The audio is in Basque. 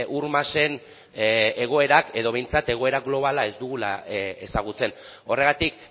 ur masen egoerak edo behintzat edo behintzat egoera globala ez dugula ezagutzen horregatik